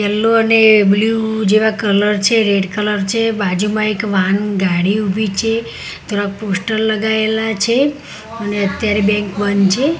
Yellow અને blue જેવા colour છે રેડ કલર છે બાજુમાં એક વાન ગાડી ઊભી છે થોડા પોસ્ટર લગાયેલા છે અને અત્યારે બેંક બંધ છે.